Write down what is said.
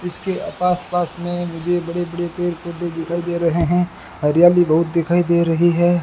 इसके आपास पास में मुझे बड़े बड़े पेड़ पौधे दिखाई दे रहे हैं हरियाली बहुत दिखाई दे रही है।